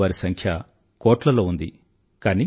వినేవారి సంఖ్య కోట్లలో ఉంది